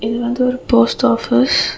இது வந்து ஒரு போஸ்ட் ஆஃபீஸ் .